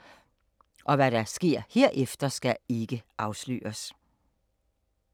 Hvad der sker herefter, skal dog ikke afsløres…